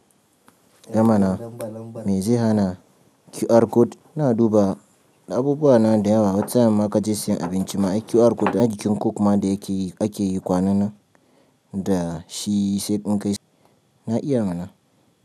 Eh mana! Me zai hana QR code, ina dubawa abubuwa na da yawa wata sa'in ma ka je sayan abinci ma ai QR code. Na jikin coke ma da yake ake yi kwanan nan da shi sai in gaishe. Na iya mana.